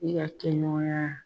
Ni ka kɛ ɲɔgɔnya